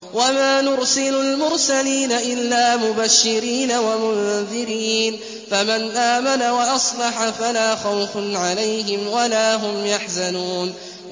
وَمَا نُرْسِلُ الْمُرْسَلِينَ إِلَّا مُبَشِّرِينَ وَمُنذِرِينَ ۖ فَمَنْ آمَنَ وَأَصْلَحَ فَلَا خَوْفٌ عَلَيْهِمْ وَلَا هُمْ يَحْزَنُونَ